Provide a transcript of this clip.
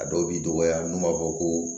A dɔw b'i dɔgɔya n'u b'a fɔ ko